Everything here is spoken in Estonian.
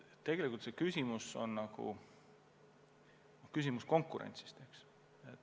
Tegelikult on küsimus konkurentsis.